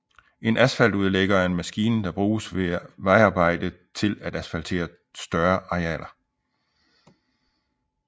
En asfaltudlægger er en maskine der bruges ved vejarbejde til at asfaltere større arealer